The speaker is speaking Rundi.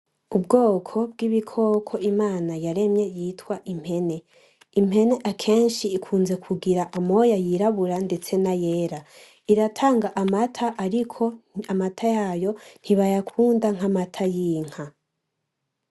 Ubwoko bwibikoko imana yaremye yitwa impene ,impene akenshi ikunze kugira amoya yirabura ndetse nayera iratanga amata ariko amata yayo nti bayakunda nkamata yinka.